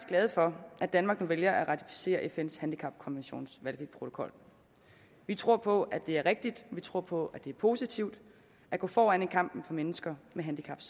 glade for at danmark nu vælger at ratificere fns handicapkonventions valgfri protokol vi tror på at det er rigtigt vi tror på at det er positivt at gå foran i kampen for mennesker med handicap